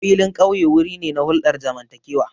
Filin ƙauye wuri ne na hulɗar zamantakewa.